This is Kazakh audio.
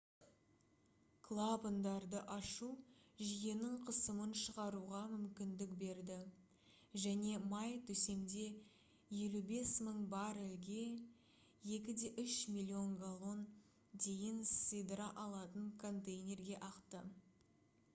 клапандарды ашу жүйенің қысымын шығаруға мүмкіндік берді және май төсемде 55 000 баррельге 2,3 миллион галлон дейін сыйдыра алатын контейнерге ақты